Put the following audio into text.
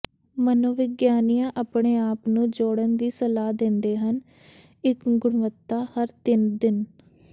ਮਨੋਵਿਗਿਆਨੀਆਂ ਆਪਣੇ ਆਪ ਨੂੰ ਜੋੜਨ ਦੀ ਸਲਾਹ ਦਿੰਦੇ ਹਨ ਇੱਕ ਗੁਣਵੱਤਾ ਹਰ ਤਿੰਨ ਦਿਨ